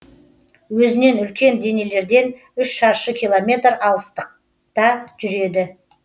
өзінен үлкен денелерден үш шаршы километр алыстықта жүреді